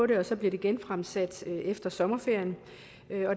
det og så bliver det genfremsat efter sommerferien